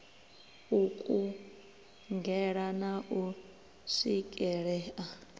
u kungela na u swikelea